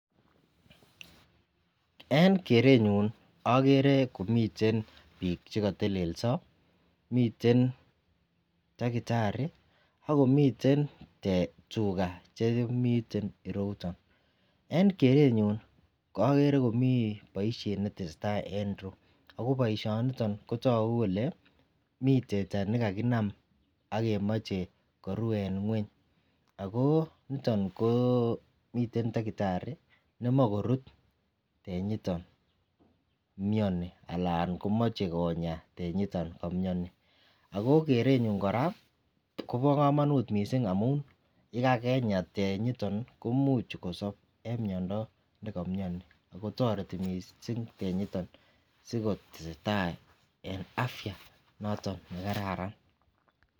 En kerenyun agere komiten bik chekatelelso miten takitari ak komiten tuga Chemiten irouton en kerenyun agere komiten baishet netesetai en ireyu ako baishet niton kotagu Kole mi teta nekakinam akemache Koru en ngweny akoniton komiten takitari nemakorut tenyiton miani anan komache konyaa tenyiton kamiani ako kerenyun Koba kamanut mising amun yekakenya tenyiton komuch kosab en mianwagik en nekamiani akotareti mising tenyiton kotestai en afya noton nekararan